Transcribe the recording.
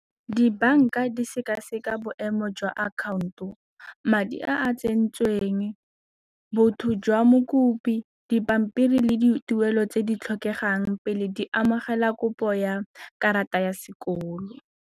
Dibanka di sekaseka boemo jwa account-o, madi a tsentsweng, botho jwa mokopi dipampiri le dituelo tse di tlhokegang pele di amogela kopo ya karata ya sekolo.